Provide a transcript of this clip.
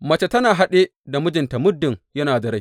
Mace tana haɗe da mijinta muddin yana da rai.